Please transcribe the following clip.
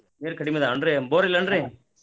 ನೀರ್ ಕಡಿಮಿ ಅದಾವ್ ಏನ್ರೀ ಬೋರ್ ಇಲ್ಲ ಏನ್ರೀ?